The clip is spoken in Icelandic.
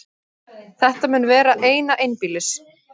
Þetta mun vera eina einbýlis